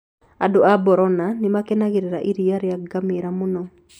Andũ a Borana nĩ makenagĩra iria rĩa ngamĩĩra mũno.